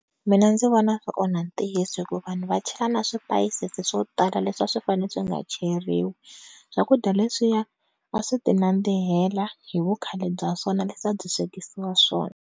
Mina ndzi vona swi onha ntiyiso hi ku vanhu va chela na swi spice swilo swo tala leswi a swi fanele swi nga cheriwi, swakudya leswiya a swi ti nandzihela hi vu khale bya swona leswi a byi swekisiwa swona.